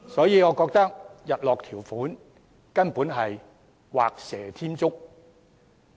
因此，我認為日落條款根本是畫蛇添足。